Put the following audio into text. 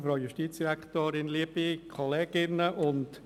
Kommissionssprecher der FiKo-Minderheit.